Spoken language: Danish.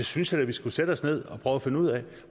synes da at vi skulle sætte os ned og prøve at finde ud af